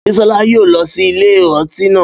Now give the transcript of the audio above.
Bísọ́lá yóò lọ sí ilé ọtí náà